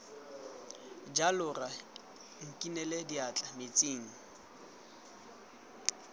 jalo rra nkinele diatla metsing